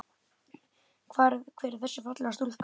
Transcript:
Hver er þessi fallega stúlka?